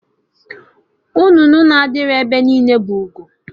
Nnụnụ na-adịghị ebe niile bụ ugo